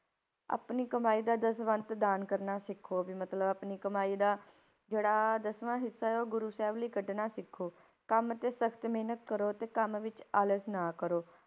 ਆਪਣੀ ਕਮਾਈ ਦਾ ਦਸਵੰਧ ਦਾਨ ਕਰਨਾ ਸਿੱਖੋ ਵੀ ਮਤਲਬ ਆਪਣੀ ਕਮਾਈ ਦਾ ਜਿਹੜਾ ਦਸਵਾਂ ਹਿੱਸਾ ਹੈ, ਉਹ ਗੁਰੂ ਸਾਹਿਬ ਲਈ ਕੱਢਣਾ ਸਿੱਖੋ, ਕੰਮ ਤੇ ਸਖ਼ਤ ਮਿਹਨਤ ਕਰੋ ਤੇ ਕੰਮ ਵਿੱਚ ਆਲਸ ਨਾ ਕਰੋ,